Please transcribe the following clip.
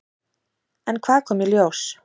En hvað kom í ljós?